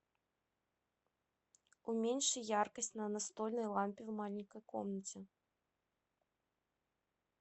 уменьши яркость на настольной лампе в маленькой комнате